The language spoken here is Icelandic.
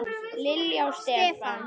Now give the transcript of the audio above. Lilja og Stefán.